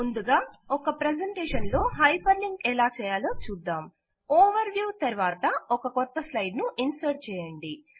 ముందుగా ఒక ప్రెసెంటేషన్ లో హైపర్ లింక్ ఎలాచేయలో చూద్దాం ఓవర్ వ్యూ తరువాత ఒక క్రొత్త స్లైడ్ ను ఇన్సర్ట్ చేయండి